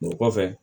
O kɔfɛ